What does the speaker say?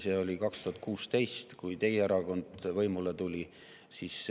See oli 2016. aastal, kui teie erakond võimule tuli.